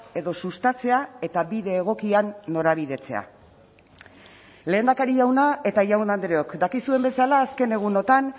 edo sustatzea eta bide egokian norabidetzea lehendakari jauna eta jaun andreok dakizuen bezala azken egunotan